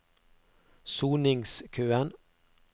soningskøen